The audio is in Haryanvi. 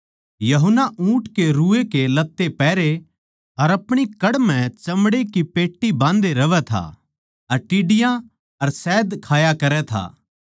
यूहन्ना ऊँट के रुए के लत्ते पहरे अर आपणी कड़ म्ह चमड़ै की पेट्टी बाँधे रहवै था अर टिड्डियाँ अर शहद खाया करै था